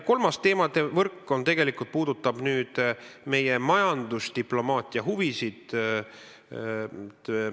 Kolmas teemade võrk puudutab meie majandusdiplomaatiahuvisid.